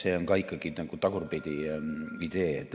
See on ka ikkagi nagu tagurpidi idee.